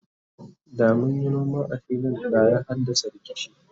da munyi noma a filin da ya haddasa rikici